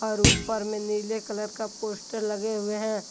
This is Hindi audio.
और ऊपर में नीले कलर का पोस्टर लगे हुए हैं।